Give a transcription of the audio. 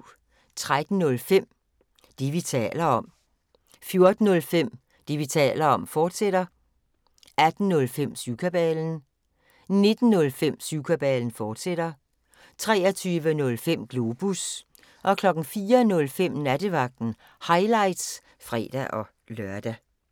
13:05: Det, vi taler om 14:05: Det, vi taler om, fortsat 18:05: Syvkabalen 19:05: Syvkabalen, fortsat 23:05: Globus 04:05: Nattevagten – highlights (fre-lør)